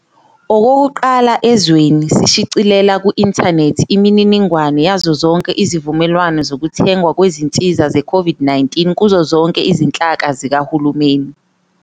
Okokuqala ezweni, sishicilele ku-inthanethi imininingwane yazo zonke izivumelwano zokuthengwa kwezinsiza ze-COVID-19 kuzo zonke izinhlaka zikahulumeni.